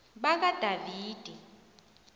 bakadavidi